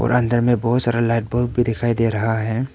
अंदर में बहुत सारा लाइट बल्ब भी दिखाई दे रहा है।